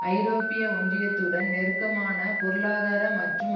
ஐரோப்பிய ஒன்றியத்துடன் நெருக்கமான பொருளாதார மற்றும்